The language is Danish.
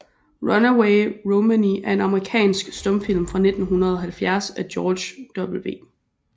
Runaway Romany er en amerikansk stumfilm fra 1917 af George W